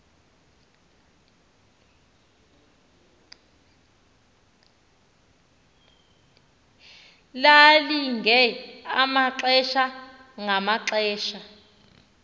lalilinge amaxesha ngamaxesha